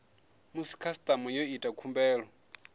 musi khasitama yo ita khumbelo